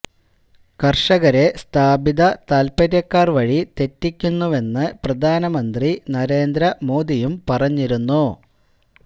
കര്ഷകരെ സ്ഥാപിത താല്പ്പര്യക്കാര് വഴി തെറ്റിക്കുന്നുവെന്ന് പ്രധാനമന്ത്രി നരേന്ദ്ര മോദിയും പറഞ്ഞിരുന്നു